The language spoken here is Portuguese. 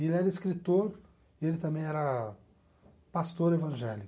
E ele era escritor e ele também era pastor evangélico.